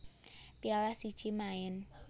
Piala siji maen